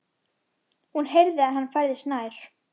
Hún heyrði að hann færðist nær.